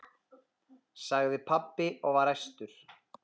sagði pabbi og var æstur.